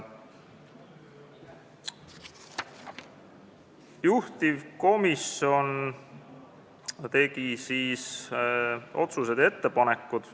Juhtivkomisjon tegi ka otsused ja ettepanekud.